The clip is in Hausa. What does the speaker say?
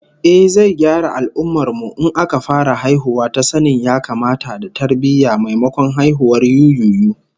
Ehh, zai gyara al'ummar mu in aka fara haihuwa ta sanin ya-kamata da tarbiyyah, maimakon haihuwar yuyuyu